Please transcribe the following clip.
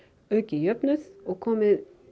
aukið jöfnuð og komið